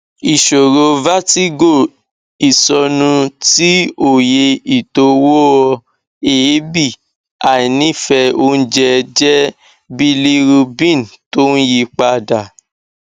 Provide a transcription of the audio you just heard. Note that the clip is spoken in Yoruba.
ìṣòro vertigo isonu ti oye itowoeebi àìnífẹ oúnjẹ jẹ bilirubin tó ń yí padà